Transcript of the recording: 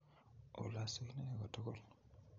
Olosu Ine kotugul;